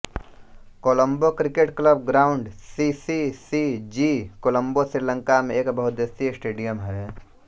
Colombo cricket club ground C C C G Colombo Sri Lanka में एक बहुउद्देश्यीय स्टेडियम है